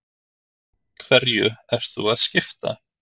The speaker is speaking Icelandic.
Helga: Hverju ert þú að skipta?